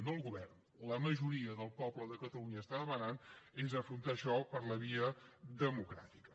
no el govern sinó la majoria del poble de catalunya està demanant és afrontar això per la via democràtica